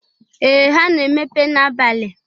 Ee! ha na-emepa n'abali.